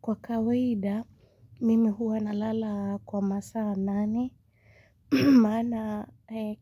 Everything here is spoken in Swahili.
Kwa kawaida, mimi huwa nalala kwa masaa nane. Maana